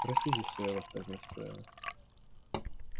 простите что я вас так расстроил